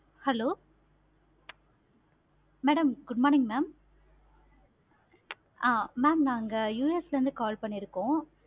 hello madam good morning ma'am ஆஹ் ma'am நாங்க US ல இருந்து call பண்ணிருக்கோம்.